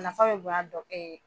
Nafa bɛ bonya a dɔ kɛ ye.